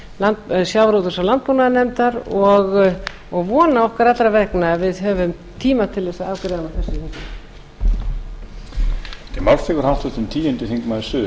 háttvirtrar sjávarútvegs og landbúnaðarnefndar og vona okkar allra vegna að við höfum tíma til að afgreiða hana fyrir vorið